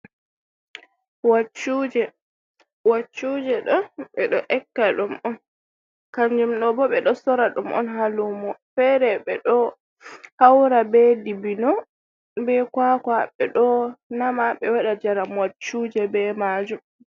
Waccuje waccuje ɗo ɓe ɗo aykka ɗum on kanjum ɗun bo ɓe ɗo sora ɗum on ha lumo fere ɓe ɗo haura be dibino be kwakwa ɓe ɗo nama ɓe waɗa jaram waccuje be majum.